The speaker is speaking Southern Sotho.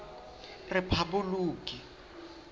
rephaboloki